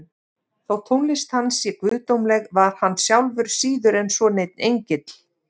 Þótt tónlist hans sé guðdómleg var hann sjálfur síður en svo neinn engill.